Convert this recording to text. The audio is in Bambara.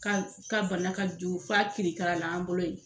Ka ka bana ka jugu f'a kirikara la an bolo yen